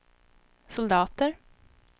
soldater